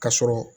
Ka sɔrɔ